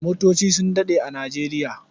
Motoci su daɗe a Nijeriya.